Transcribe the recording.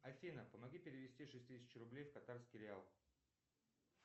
афина помоги перевести шесть тысяч рублей в катарский реал